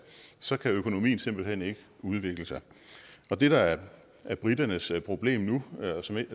så kan økonomien simpelt hen ikke udvikle sig det der er briternes problemer og som